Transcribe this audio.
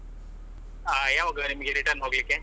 ಹಾ ಯಾವಾಗ ನಿಮ್ಗೆ return ಹೋಗ್ಲಿಕೆ?